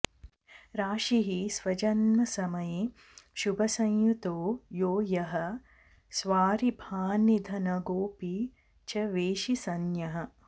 राशिः स्वजन्मसमये शुभसंयुतो यो यः स्वारिभान्निधनगोऽपि च वेशिसञ्ज्ञः